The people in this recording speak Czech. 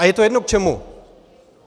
A je to jedno k čemu!